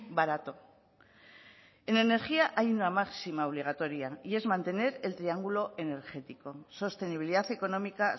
barato en energía hay una máxima obligatoria y es mantener el triángulo energético sostenibilidad económica